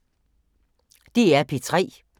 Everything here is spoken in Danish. DR P3